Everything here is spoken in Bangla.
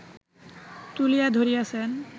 তুলিয়া ধরিয়াছেন